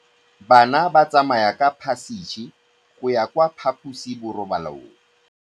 Bana ba tsamaya ka phašitshe go ya kwa phaposiborobalong.